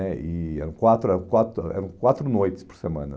né e Eram quatro eram quatro eram quatro noites por semana.